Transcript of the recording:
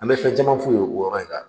An bɛ fɛ cama f'''u ye o yɔrɔ in kan.